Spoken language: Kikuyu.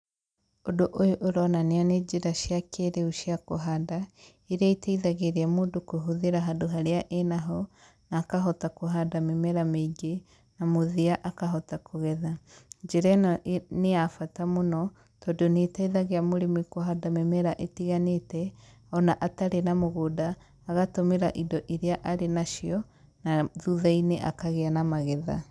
Ũndũ ũyũ ũronania nĩ njĩra cia kĩĩrĩu cia kũhanda, iria iteithagĩria mũndũ kũhũthĩra handũ harĩa enaho na akahota kũhanda mĩmera mĩingĩ na mũthia akahota kũgetha. Njĩra ĩno nĩ ya bata mũno, tondũ nĩ ĩteithagia mũrĩmi kũhanda mĩmera ĩtiganĩte o na atarĩ na mũgũnda, agatũmĩra indo iria arĩ nacio, na thutha-inĩ akagĩa na magetha.